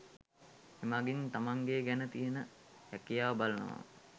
එමගින් තමන්ගේ ගැන තියන හැකියාව බලනවා